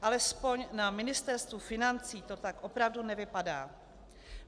Alespoň na Ministerstvu financí to tak opravdu nevypadá.